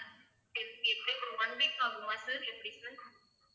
எப்~ எப்படியும் ஒரு one week ஆகுமா sir எப்படி sir